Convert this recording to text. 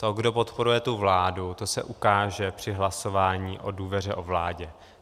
To, kdo podporuje tu vládu, to se ukáže při hlasování o důvěře o vládě.